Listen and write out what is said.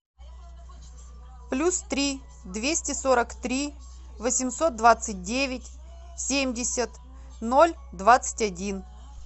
плюс три двести сорок три восемьсот двадцать девять семьдесят ноль двадцать один